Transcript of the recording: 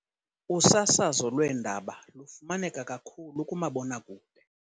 Usasazo lweendaba lufumaneka kakhulu kumabonakude.